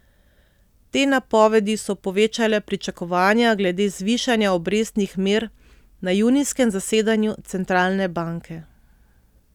Te napovedi so povečale pričakovanja glede zvišanja obrestnih mer na junijskem zasedanju centralne banke.